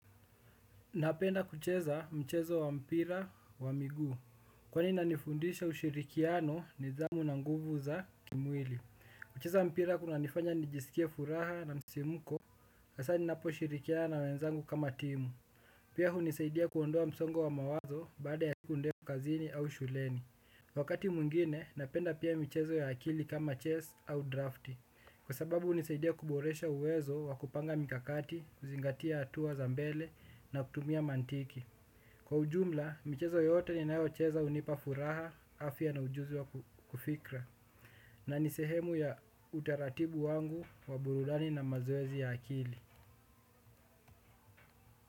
Napenda kucheza mchezo wa mpira wa miguu. Kwani inanifundisha ushirikiano nidhamu na nguvu za kimwili. Kucheza mpira kunanifanya nijisikia furaha na msisimko hasaa ninapo shirikiana na wenzangu kama timu. Pia hunisaidia kuondoa msongo wa mawazo baada ya siku ndefu kazini au shuleni. Wakati mwingine napenda pia michezo ya akili kama chess au drafti. Kwa sababu hunisaidia kuboresha uwezo wa kupanga mikakati, kuzingatia hatua za mbele na kutumia mantiki. Kwa ujumla, michezo yoyote ninayo cheza hunipa furaha, afya na ujuzi wa kufikra. Na nisehemu ya utaratibu wangu wa burudani na mazoezi ya akili.